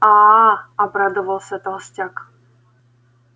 аа обрадовался толстяк